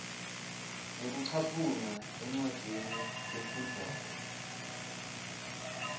ngekucaphuna encwadzini lefundvwako